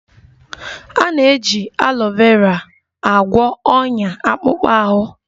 A na-eji alọ vera agwọ onya akpụkpọ ahụ